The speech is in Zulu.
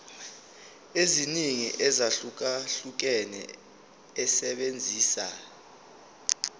eziningi ezahlukahlukene esebenzisa